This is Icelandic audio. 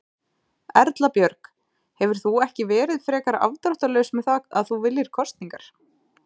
Erla Björg: Hefur þú ekki verið frekar afdráttarlaus með það að þú viljir kosningar?